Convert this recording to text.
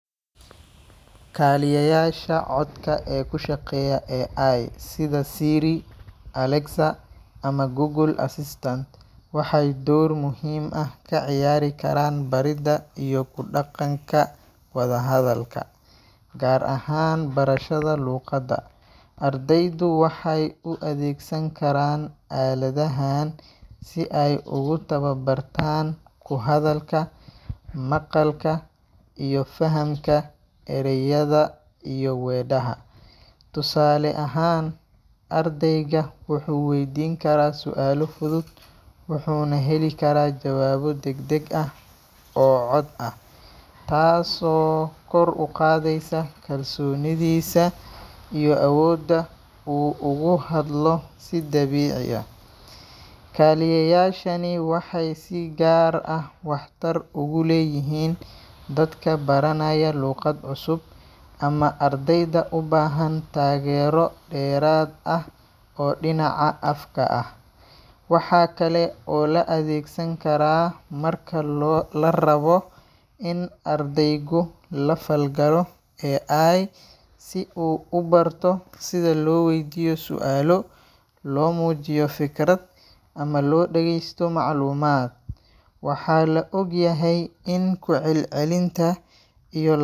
Kaaliyeyaasha codka ee ku shaqeeya AI, sida Siri, Alexa, ama Google Assistant, waxay door muhiim ah ka ciyaari karaan baridda iyo ku dhaqanka wada hadalka, gaar ahaan barashada luqadda. Ardaydu waxay u adeegsan karaan aaladahaan si ay ugu tababartaan ku hadalka, maqalka, iyo fahamka ereyada iyo weedhaha. Tusaale ahaan, ardayga wuxuu weydiin karaa su’aalo fudud, wuxuuna heli karaa jawaabo degdeg ah oo cod ah, taasoo kor u qaadaysa kalsoonidiisa iyo awoodda uu ugu hadlo si dabiici ah. Kaaliyeyaashani waxay si gaar ah waxtar ugu leeyihiin dadka baranaya luqad cusub, ama ardayda u baahan taageero dheeraad ah oo dhinaca afka ah. Waxa kale oo la adeegsan karaa markalo la rabo in ardaygu la falgalo AI si uu u barto sida loo weydiiyo su’aalo, loo muujiyo fikrad, ama loo dhageysto macluumaad. Waxa la og yahay in ku celcelinta iyo l.